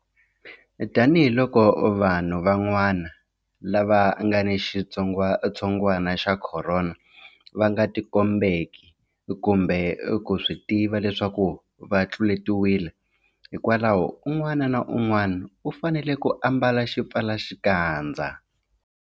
Tanihiloko vanhu vanwana lava nga ni xitsongwantsongwana xa Khorona va nga tikombeki kumbe ku swi tiva leswaku va tluletiwile, hikwalaho un'wana na un'wana u fanele ku ambala xipfalaxikandza.